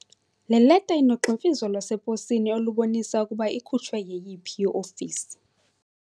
Le leta inogximfizo lwaseposini olubonisa ukuba ikhutshwe yeyiphi iofisi.